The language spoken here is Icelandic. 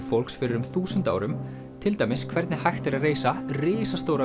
fólks fyrir um þúsund árum til dæmis hvernig hægt er að reisa risastóra